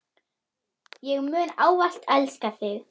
Ég mun ávallt elska þig.